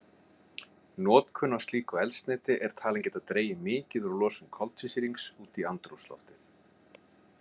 Notkun á slíku eldsneyti er talin geta dregið mikið úr losun koltvísýrings út í andrúmsloftið.